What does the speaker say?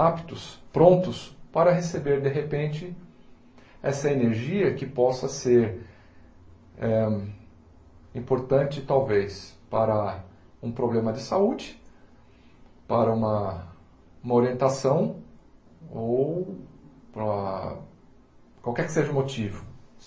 aptos, prontos, para receber, de repente, essa energia que possa ser eh importante, talvez, para um problema de saúde, para uma uma orientação, ou para qualquer que seja o motivo.